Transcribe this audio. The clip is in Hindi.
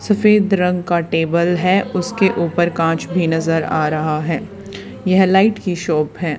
सफेद रंग का टेबल है उसके ऊपर कांच भी नजर आ रहा है यह लाइट की शॉप है।